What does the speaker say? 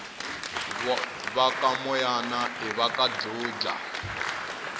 vakamoyana ivaka dludla